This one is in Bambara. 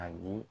Ani